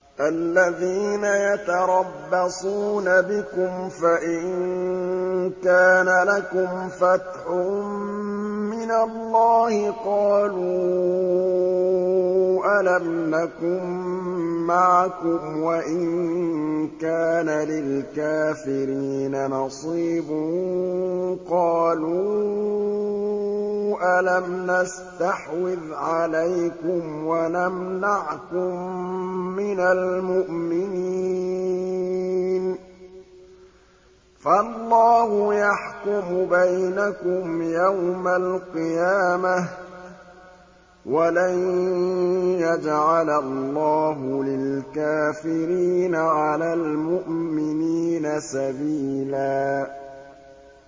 الَّذِينَ يَتَرَبَّصُونَ بِكُمْ فَإِن كَانَ لَكُمْ فَتْحٌ مِّنَ اللَّهِ قَالُوا أَلَمْ نَكُن مَّعَكُمْ وَإِن كَانَ لِلْكَافِرِينَ نَصِيبٌ قَالُوا أَلَمْ نَسْتَحْوِذْ عَلَيْكُمْ وَنَمْنَعْكُم مِّنَ الْمُؤْمِنِينَ ۚ فَاللَّهُ يَحْكُمُ بَيْنَكُمْ يَوْمَ الْقِيَامَةِ ۗ وَلَن يَجْعَلَ اللَّهُ لِلْكَافِرِينَ عَلَى الْمُؤْمِنِينَ سَبِيلًا